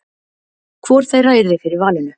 hvor þeirra yrði fyrir valinu